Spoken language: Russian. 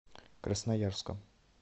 красноярском